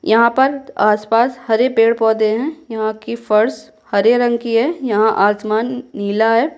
यहाँ पर आसपास हरे पेड़-पौधे हैं यहाँ की फर्श हरे रंग की है यहाँ आसमान नीला है।